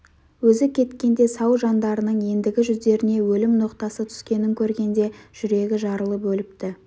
өзі кеткенде сау жандарының ендігі жүздеріне өлім ноқтасы түскенін көргенде жүрегі жарылып өліпті